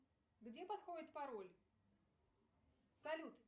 где подходит пароль салют